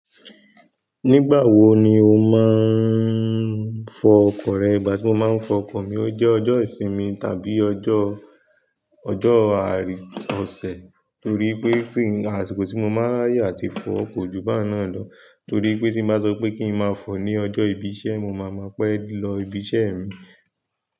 Nígbà wo ni o máa n fo ọkọ̀ rẹ? Ìgbà tí mo máa ń fọ ọkọ̀ mi, ó jẹ́ ọjọ́ ìsinmi tàbí ọjọ́, ọjọ́ ààrẹ ọ̀sẹ̀. Torí pé tí-- àsikó tí mo máa raye ati fọ ko ojú bá náà lọ. Torí pé tí mo bá sọ pé kí n máa fọ ní ọjọ́ ìbí iṣẹ́, mo máma pé lọ ibi iṣẹ́ mi.